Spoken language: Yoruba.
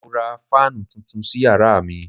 Mo ra fáànù tuntun sí yàrá mi